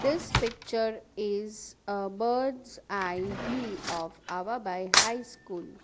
this picture is a bird's eye view of ava bai high school.